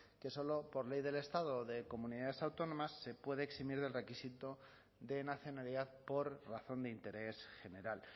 que solo por ley del estado o de comunidades autónomas se puede eximir del requisito de nacionalidad por razón de interés general